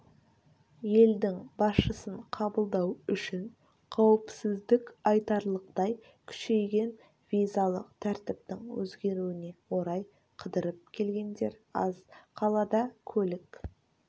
елдің басшысын қабылдау үшін қауіпсіздік айтарлықтай күшейген визалық тәртіптің өзгеруіне орай қыдырып келгендер аз қалада көлік